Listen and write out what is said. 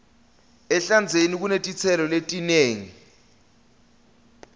ehlandzeni kunetitselo letinengi